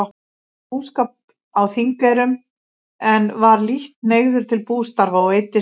Hóf búskap á Þingeyrum, en var lítt hneigður til bústarfa og eyddist fé.